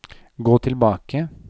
gå tilbake